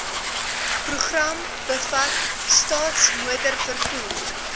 program bevat staatsmotorvervoer